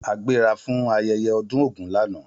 A gbéra fún ayẹyẹ ọdún ògún lànà